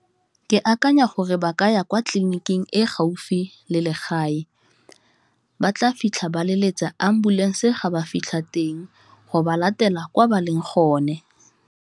Ke akanya gore ba ka ya kwa tleliniking e gaufi le legae, ba tla fitlha ba leletsa ambulensee ga ba fitlha teng go ba latela kwa ba leng go ne.